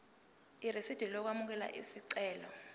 irisidi lokwamukela isicelo